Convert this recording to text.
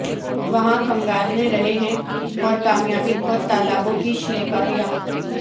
وہاں کھنگالنے رہے ہیں اور کامیابی بہت تالابوں کی شلیکریا